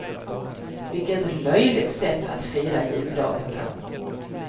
Vilket löjligt sätt att fira juldagen på.